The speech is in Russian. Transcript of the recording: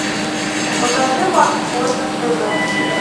покажи морской на тв